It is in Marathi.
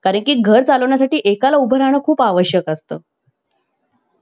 कारण की घर चालवण्यासाठी एकाला उभं राहणे खूप आवश्यक असतं.